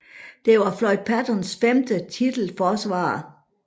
Det var Floyd Pattersons femte titelforsvar